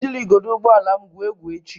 Ejila igodo ụgbọ ala m egwu egwu echi!